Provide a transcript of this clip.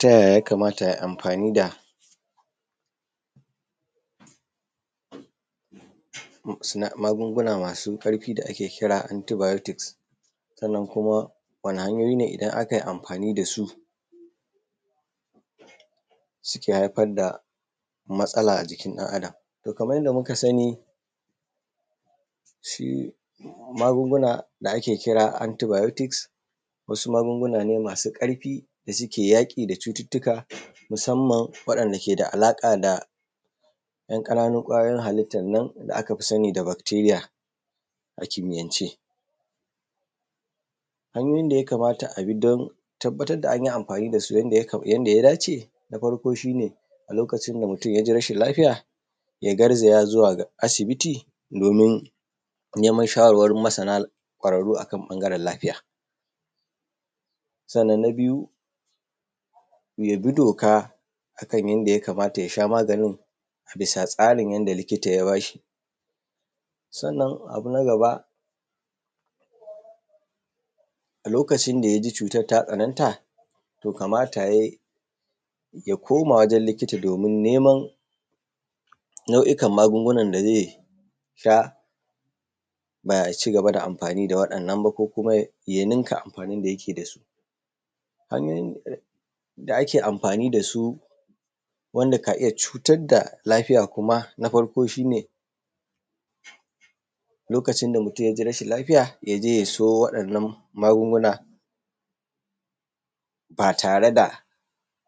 Tayaya ya kamata ai amfani da sina, magunguna masu ƙarfi da ake kira da anti biyotiks? Sannan kuma wani hanyoyi ne idan akai amfani dasu suke haifar da matsala a jikin ɗan Adam? To kaman yanda muka sani, shi magunguna da ake kira anti bayotisk wasu magunguna masu ƙarfi da suke yaƙi da cututtuka musamman waɗanda ke da alaƙa da ‘yan ƙananun ƙwayoyin halittan nan da aka fi sani da bakteriya a kimiyance. Hanyoyin da ya kamata abi don tabbatar da anyi amfani dasu yanda ya kama, yanda ya dace. Na farko shi ne a lokacin da mutum ya ji rashin lafiya, ya garzaya zuwa ga asibiti domin neman sharwarwarin masana, ƙwararu akan ɓangaren lafiya. Sannan na biyu ya bi doka akan yanda ya kamata yasha maganin, bisa tsarin yanda likita ya bashi. Sannan abu na gaba lokacin daya ji cutan ta tsananta to kamata yayi ya koma wajen likita domin neman nau’ikan magungunan da zai sha, baya ci gaba da amfani da waɗannan ba ko kuma ya ninka amfanin da yake yi da su. Hanyoyin da ake amfani dasu wanda ka iya cutar da lafiya kuma Na farko shi ne lokacin da mutum ya ji rashin lafiya ya je ya siyi waɗannan magunguna ba tare da